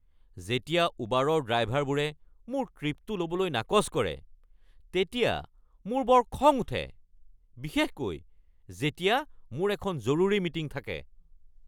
যেতিয়া উবাৰৰ ড্ৰাইভাৰবোৰে মোৰ ট্ৰিপটো ল’বলৈ নাকচ কৰে তেতিয়া মোৰ বৰ খং উঠে বিশেষকৈ যেতিয়া মোৰ এখন জৰুৰী মিটিং থাকে।